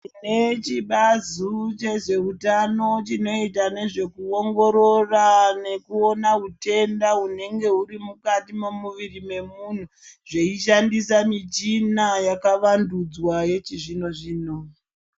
Tine chibazu chezveutano chinoita nezve kuongorora nekuona hutenda hunenge huri mukati memuviri wemunhu zveishandisa michina yakavandudzwa yechizvino zvino.